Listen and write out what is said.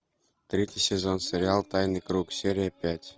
третий сезон сериал тайный круг серия пять